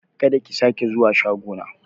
Kada ki sake zuwa shago na!